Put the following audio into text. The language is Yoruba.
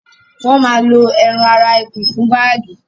wọ́n ma lo ẹran ara ẹkùn fún bágì